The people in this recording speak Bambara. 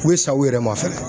U bɛ sa u yɛrɛ ma fɛnɛ.